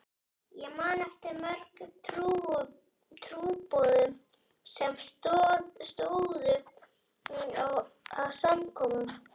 Ég man eftir mörgum trúboðum sem stóðu að samkomum.